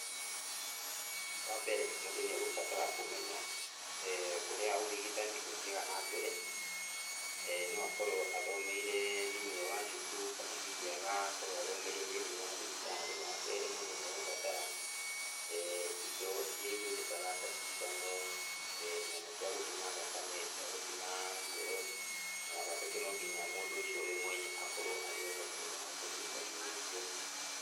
Wambere mũndũ nĩegũbatara kũmenya ũrĩa ũrigitani ũthiaga nambere. No akorwo athomeire thĩiniĩ wa cukuru kana hihi agakorwo athomeire thĩiniĩ wa thibitarĩ. Wakerĩ mũndũ nĩegũbatara indo iria ihũthĩkaga ta cindano, nyamũ cia gũthima thakame, cia gũthima ngoro, na wagatatũ no nginya mũndũ ũcio we mwene akorwo arĩoho nĩgetha ahote kũruta wĩra ũcio.